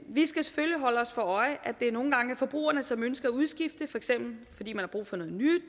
vi skal selvfølgelig holde os for øje at det nogle gange er forbrugerne som ønsker at udskifte for eksempel fordi man